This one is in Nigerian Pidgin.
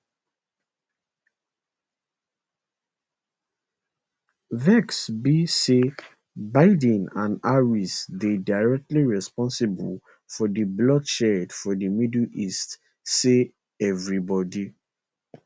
vex be say biden and harris dey directly responsible for di bloodshed for di middle east say evribodi